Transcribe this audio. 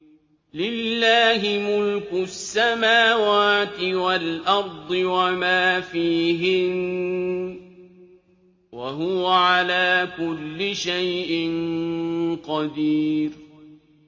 لِلَّهِ مُلْكُ السَّمَاوَاتِ وَالْأَرْضِ وَمَا فِيهِنَّ ۚ وَهُوَ عَلَىٰ كُلِّ شَيْءٍ قَدِيرٌ